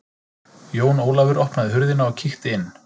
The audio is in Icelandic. Jón Ólafur opnaði hurðina og kíkti inn.